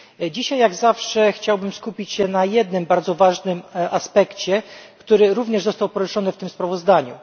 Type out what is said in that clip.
Dzisiaj jak zawsze chciałbym skupić się na jednym bardzo ważnym aspekcie, który również został poruszony w tym sprawozdaniu.